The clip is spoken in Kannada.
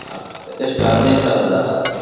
ಹಾ ಎಷ್ಟು ಹದ್ನೈದು ಸಾವಿರದವಾ?